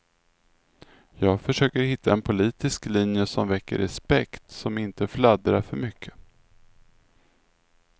Jag försöker hitta en politisk linje som väcker respekt, som inte fladdrar för mycket.